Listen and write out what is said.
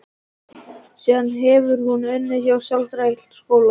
Síðan hefur hún unnið hjá sálfræðideild skóla.